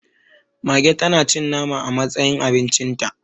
Mage tanacin nama a matsayin abincinta